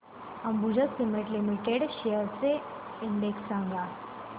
Ambuja cement limited shares चा index सांगा